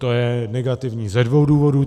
To je negativní ze dvou důvodů.